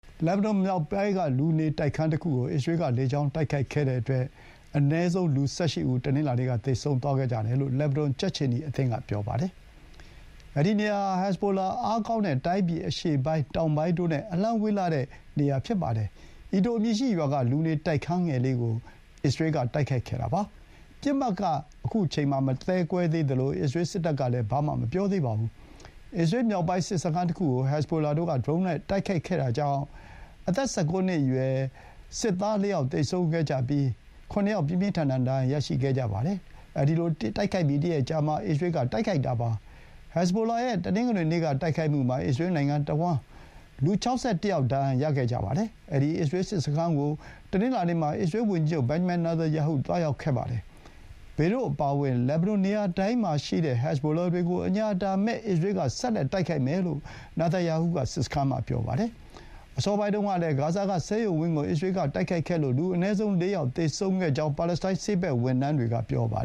လက်ဘနွန်မြောက်ပိုင်းက လူနေတိုက်ခန်းတခုကို အစ္စရေးက လေကြောင်းတိုက်ခိုက်ခဲ့တဲ့အတွက် အနည်းဆုံး လူ ၁၈ ဦးတနင်္လာနေ့က သေဆုံးသွားခဲ့ကြတယ်လို့ လက်ဘနွန် ကြက်ခြေနီအသင်းက ပြောပါတယ်။ ဒီနေရာဟာ ဟက်ဇ်ဘိုလာတွေအားကောင်းတဲ့ တိုင်းပြည်အရှေ့ပိုင်း၊ တောင်ပိုင်းတို့နဲ့ အလှမ်းဝေးလှတဲ့ နေရာပါ။ Aito အမည်ရှိရွာက လူနေတိုက်ခန်းငယ်လေးကို တိုက်ခိုက်ခဲ့တာ ဖြစ်ပါတယ်။ ပစ်မှတ်က မသဲကွဲသေးသလို အစ္စရေးစစ်တပ်ကလည်း ဘာမှ မပြောသေးပါဘူး။ အစ္စရေးမြောက်ပိုင်း စစ်စခန်းတခုကို ဟက်ဇ်ဘိုလာတို့က ဒရုန်းနဲ့တိုက်ခိုက်ခဲ့တာကြောင့် အားလုံး အသက် ၁၉ နှစ်အရွယ် စစ်သား ၄ ယောက် သေဆုံး၊ ၇ ယောက် ပြင်းပြင်းထန်ထန် ဒဏ်ရာရခဲ့ပြီးတရက်အကြာမှာ ခုလို အစ္စရေးက တိုက်ခိုက်တာပါ။ ဟက်ဇ်ဘိုလာရဲ့ တနင်္ဂနွေနေ့တိုက်ခိုက်မှုမှာ စုစုပေါင်း လူ ၆၁ ယောက် ဒဏ်ရာရခဲ့တာပါ။ အဲဒီ အစ္စရေး စစ်စခန်းကိုတနင်္လာနေ့မှာ အစ္စရေးဝန်ကြီးချုပ် ဘင်ဂျမန် နေတန်ယာဟု သွားရောက်ခဲ့ပါတယ်။ ဘေရွတ်အပါအဝင် လက်ဘနွန်နေရာတိုင်းမှာ ရှိတဲ့ ဟက်ဇ်ဘိုလာတွေကို အစ္စရေးက ဆက်လက်ပြီး အညှာအတာမဲ့တိုက်ခိုက်မယ်လို့ နေတန်ယာဟု က ပြောပါတယ်။ အစောပိုင်းတုန်းကလည်း ဂါဇာက ဆေးရုံဝင်းကို အစ္စရေးကတိုက်ခဲ့လို့ လူအနည်းဆုံး ၄ ယောက် သေဆုံးခဲ့ကြောင်း ပါလက်စတိုင်း ဆေးဘက် ဝန်ထမ်းတွေက ပြောပါ